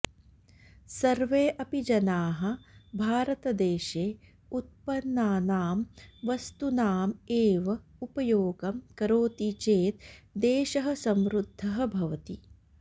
सर्वे अपि जनाः भारतदेशे उत्पन्नानां वस्तूनाम् एव उपयोगं करोति चेत् देशः समृद्धः भवति